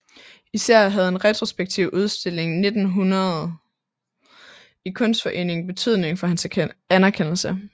Især havde en retrospektiv udstilling 1900 i Kunstforeningen betydning for hans anerkendelse